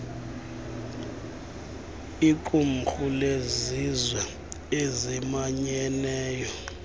liqumrhu lezizwe ezimanyeneyo